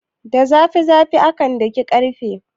Da zafi zafi akan daki ƙarfe.